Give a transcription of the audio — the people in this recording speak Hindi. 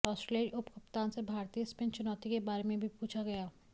ऑस्ट्रेलियाई उपकप्तान से भारतीय स्पिन चुनौती के बारे में भी पूछा गया